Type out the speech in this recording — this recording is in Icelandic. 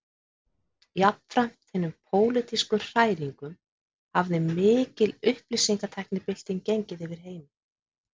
Jafnframt hinum pólitísku hræringum hafði mikil upplýsingatæknibylting gengið yfir heiminn